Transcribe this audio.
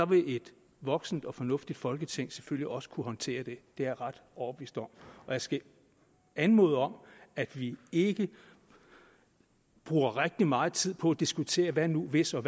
vil et voksent og fornuftigt folketing selvfølgelig også kunne håndtere det er jeg ret overbevist om jeg skal anmode om at vi ikke bruger rigtig meget tid på at diskutere hvad nu hvis og